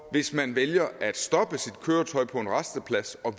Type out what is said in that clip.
hvis man vælger at stoppe sit køretøj på en rasteplads og